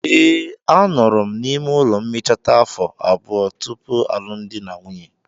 ee, anọrọ m n'ime ụlọ mmecheta afo abuo? tupu alụmdi na nwunye.